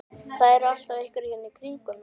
Það eru alltaf einhverjir hérna í kringum mig.